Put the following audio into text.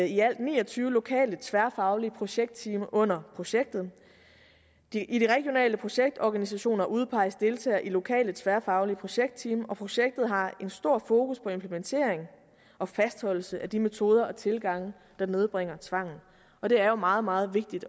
i alt ni og tyve lokale tværfaglige projektteam under projektet i de regionale projektorganisationer udpeges deltagere i lokale tværfaglige projektteam og projektet har en stor fokus på implementering og fastholdelse af de metoder og tilgange der nedbringer tvangen og det er jo meget meget vigtigt